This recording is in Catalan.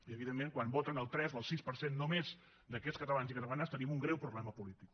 i evidentment quan voten el tres o el sis per cent només d’aquests catalans i catalanes tenim un greu problema polític